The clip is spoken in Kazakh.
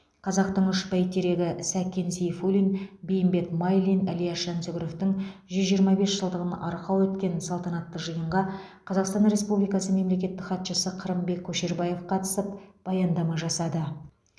қазақтың үш бәйтерегі сәкен сейфуллин бейімбет майлин ілияс жансүгіровтің жүз жиырма бес жылдығын арқау еткен салтанатты жиынға қазақстан республикасы мемлекеттік хатшысы қырымбек көшербаев қатысып баяндама жасады